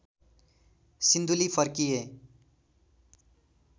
सिन्धुली फर्किए